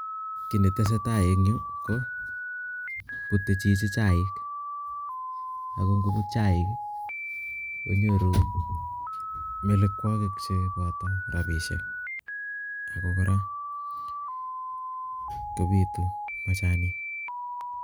Ki netese Tai en Yu ko bute Chichi chaik ago ngobut chaik konyoru melekwokik choboto rabishek ako kora kobitu machanik.